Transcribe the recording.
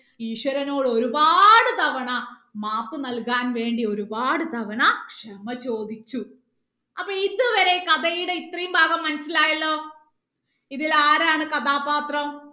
ഈശ്വരനോട് ഒരുപാട് തവണ മാപ്പ് നൽകാൻ വേണ്ടി ഒരുപാട് തവണ ക്ഷമ ചോദിച്ചു അപ്പൊ ഇതുവരെ കഥയുടെ ഇത്രയും ഭാഗം മനസിലായല്ലോ ഇതിൽ ആരാണ് കഥാപത്രം